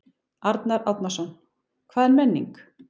Arnar Árnason: Hvað er menning?